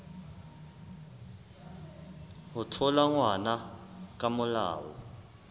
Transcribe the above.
ho thola ngwana ka molao